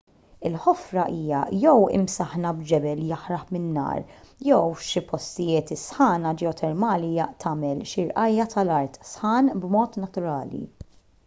il-ħofra hija jew imsaħħna b'ġebel jaħraq minn nar jew f'xi postijiet is-sħana ġeotermali tagħmel xi rqajja' tal-art sħan b'mod naturali